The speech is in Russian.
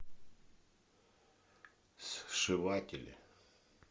сшиватели